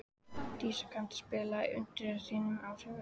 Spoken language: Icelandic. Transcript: Dísa, kanntu að spila lagið „Undir þínum áhrifum“?